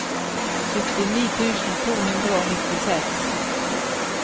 syttini tusen to hundre og nittiseks